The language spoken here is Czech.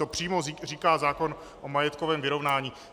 To přímo říká zákon o majetkovém vyrovnání.